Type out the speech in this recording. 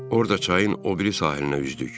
Orada çayın o biri sahilinə üzdük.